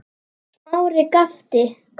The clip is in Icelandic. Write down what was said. Og þá hafið þið gifst?